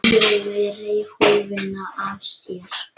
Jói reif húfuna af sér.